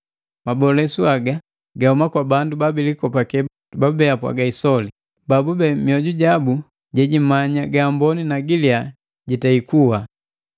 Mabolesu haga gahuma kwa bandu babilikopake babube bapwaga isoli, babube mioju ja sapi jejimanya ga amboni na giliya jitei kuwa.